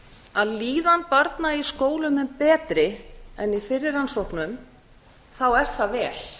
að líðan barna í skólum er betri en í fyrri rannsóknum er það vel